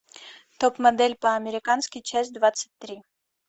топ модель по американски часть двадцать три